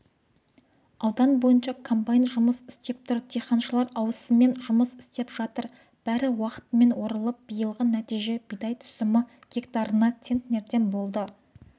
аудан бойынша комбайн жұмыс істеп тұр диқаншылар ауысыммен жұмыс істеп жатыр бәрі уақытымен орылып биылғы нәтиже бидай түсімі гектарына центнерден болды